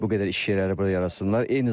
Bu qədər iş yerləri burada yaratsınlar.